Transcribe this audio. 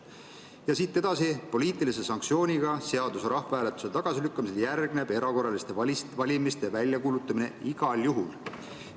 Ja edasi: poliitilise sanktsioonina seaduse rahvahääletusel tagasilükkamisele järgneb erakorraliste valimiste väljakuulutamine igal juhul.